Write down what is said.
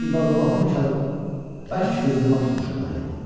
İbadullahın bərk qızdırma tutmuşdu məni.